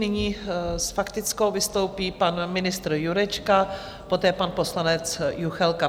Nyní s faktickou vystoupí pan ministr Jurečka, poté pan poslanec Juchelka.